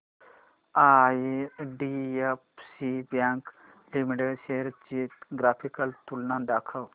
IDFC bank limited shares ची graphical तुलना दाखव